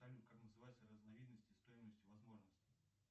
салют как называется разновидности стоимость возможностей